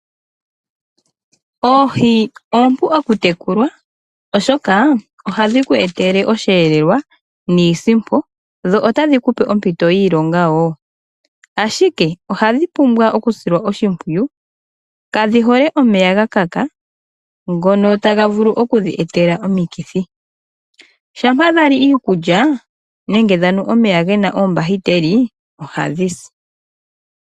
Oohi oompu okutekulwa, oshoka ohadhi ku etele osheelelwa niisimpo dho otadhi ku pe ompito yiilonga wo, ashike oha dhi pumbwa okusilwa oshimpwiyu, kadhi hole omeya ga kaka ngono taga vulu oku dhi etela omikithi. Shampa dhali iikulya nenge dhanu omeya gena oombahiteli ohadhi si.